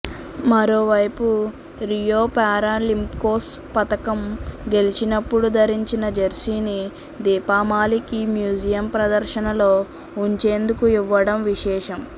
మరోవైపు రియో పారాలింపిక్స్లో పతకం గెలిచినప్పుడు ధరించిన జెర్సీని దీపామాలిక్ ఈ మ్యూజియం ప్రదర్శనలో ఉంచేందుకు ఇవ్వడం విశేషం